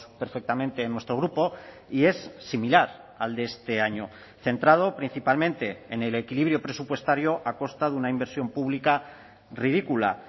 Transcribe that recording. perfectamente en nuestro grupo y es similar al de este año centrado principalmente en el equilibrio presupuestario ha costado una inversión pública ridícula